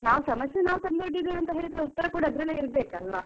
ನಾವ್ ಸಮಸ್ಯೆ ನಾವು ತಂದು ಒಡ್ಡಿದ್ದೇವೆ ಅಂತಾ ಅಂದ್ಮೇಲೆ ಉತ್ತರ ಕೂಡ ಅದ್ರಲ್ಲೇ ಇರ್ಬೇಕಲ್ವಾ?